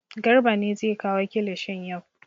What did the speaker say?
Garba ne zai kawo kilishin yau.